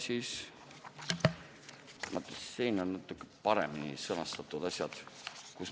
Nii, siin on Reformierakonna ettepanek.